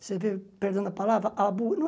Você vê, perdão da palavra, a